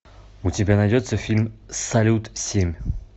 у тебя найдется фильм салют семь